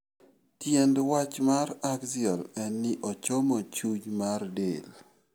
Tiend wach mar axial en ni ochomo chuny mar del.